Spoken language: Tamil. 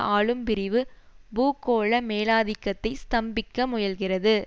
ஆளும்பிரிவு பூகோள மேலாதிக்கத்தை ஸ்தம்பிக்க முயல்கிறது